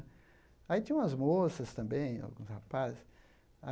Aí tinha umas moças também, alguns rapazes.